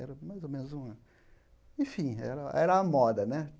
Era mais ou menos uma... Enfim, era era uma moda, né?